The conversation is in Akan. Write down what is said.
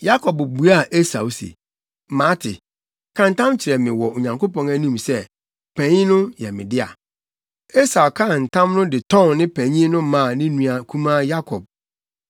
Yakob buaa Esau se, “Mate, ka ntam kyerɛ me wɔ Onyankopɔn anim sɛ, panyin no yɛ me dea.” Esau kaa ntam no de tɔn ne panyin no maa ne nua kumaa Yakob.